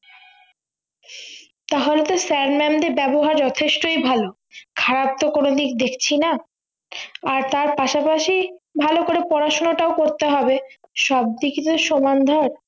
তাহলে তো sir mam এর ব্যবহার যথেষ্টই ভালো খারাপ তো কোনোদিক দেখছিনা আর তার পাশাপাশি ভালো করে পড়াশুনাটাও করতে হবে সবদিকে তো সমান ভাব